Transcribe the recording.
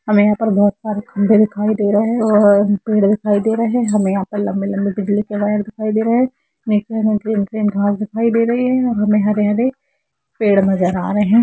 हमे यहाँ पे बहुत सारे खम्भे दिखाई दे रहे है और पेड़ दिखाई दे रहे है हमे यहा पर लम्बे लम्बे बिजली के वायर दिखाई दे रहे है नीचे में ग्रीन ग्रीन घास दिखाई दे रही है यहा मे हरे हरे पेड़ नजर आ रहे--